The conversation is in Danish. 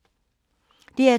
DR P2